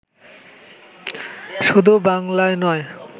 শুধু বাংলায় নয়